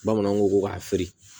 Bamananw ko ko k'a feere